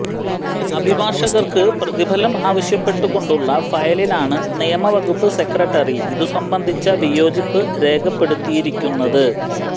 അഭിഭാഷകര്ക്ക് പ്രതിഫലം ആവശ്യപ്പെട്ടുകൊണ്ടുള്ള ഫയലിലാണ് നിയമവകുപ്പ് സെക്രട്ടറി ഇതുസംബന്ധിച്ച വിയോജിപ്പ് രേഖപ്പെടുത്തിയിരിക്കുന്നത്